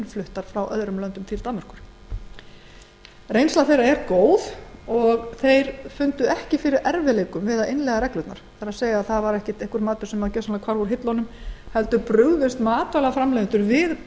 fluttar inn til danmerkur reynsla þeirra er góð og fundu þeir ekki fyrir neinum erfiðleikum við að innleiða reglurnar það var ekki einhver tegund matar sem hvarf gjörsamlega úr hillunum heldur brugðust matvælaframleiðendur við